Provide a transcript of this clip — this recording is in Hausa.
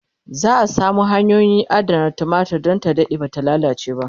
za'a Samar da hanyoyi na adanar tumatir Dan ta Dade Bata lallace ba